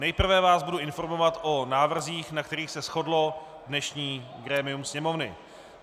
Nejprve vás budu informovat o návrzích, na kterých se shodlo dnešní grémium Sněmovny.